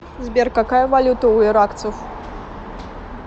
сбер какая валюта у иракцев